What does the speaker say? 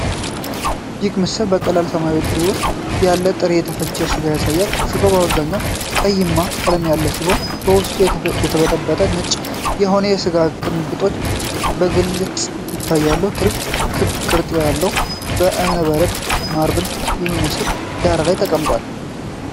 ይህ ምስል በቀለለ ሰማያዊ ትሪ ውስጥ ያለ ጥሬ፣ የተፈጨ ሥጋ ያሳያል። ሥጋው በአብዛኛው ቀይማና ቀላ ያለ ሲሆን፣ በውስጡ የተበተኑ ነጭ የሆኑ የስብ ቅንጣቶች በግልጽ ይታያሉ። ትሪው በክብ ቅርጽ ባለው የእብነበረድ (ማርብል) በሚመስል ዳራ ላይ ተቀምጧል።